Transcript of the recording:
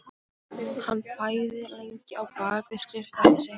Hann þagði lengi á bak við skrifborðið sitt.